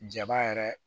Jaba yɛrɛ